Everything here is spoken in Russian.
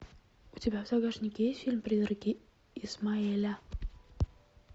у тебя в загашнике есть фильм призраки исмаэля